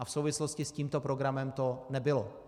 A v souvislosti s tímto programem to nebylo.